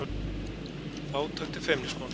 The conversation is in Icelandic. Fátækt er feimnismál